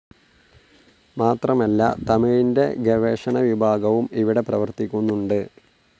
മാത്രമല്ല തമിഴിൻ്റെ ഗവേഷണ വിഭാഗവും ഇവിടെ പ്രവർത്തിക്കുന്നുണ്ട്.